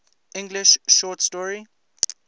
english short story